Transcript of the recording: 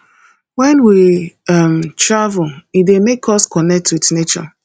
when we um travel e dey make us connect with nature